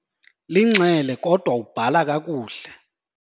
Linxele kodwa ubhala kakuhle.